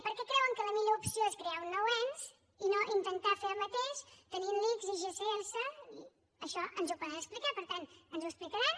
per què creuen que la millor opció és crear un nou ens i no intentar fer el mateix tenint l’ics i gss això ens ho poden explicar per tant ens ho explicaran